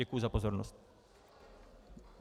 Děkuji za pozornost.